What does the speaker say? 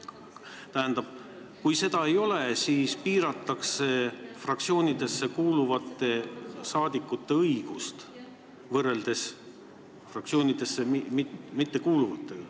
Tähendab, kui nii ei saa teha, siis piiratakse fraktsioonidesse kuuluvate rahvasaadikute õigust võrreldes fraktsioonidesse mittekuuluvatega.